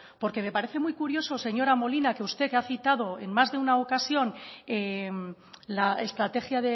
me parece muy curioso señora molina que usted que ha citado en más de una ocasión la estrategia